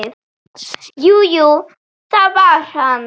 Jú, jú, það var hann.